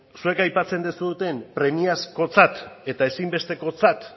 zuek aipatzen duzuen premiazkotzat eta ezinbestekotzat